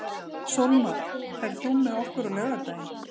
Sólmar, ferð þú með okkur á laugardaginn?